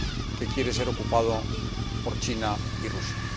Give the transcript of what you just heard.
que quiere ser ocupado por China y Rusia.